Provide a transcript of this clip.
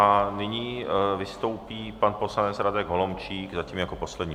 A nyní vystoupí pan poslanec Radek Holomčík, zatím jako poslední.